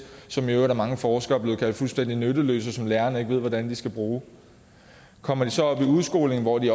som i øvrigt af mange forskere er blevet kaldt fuldstændig nytteløse og som lærerne ikke ved hvordan de skal bruge kommer de så op i udskolingen hvor de